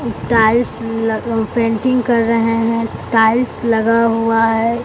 Tiles ल ग painting कर रहे हैं टाइल्स लगा हुआ है।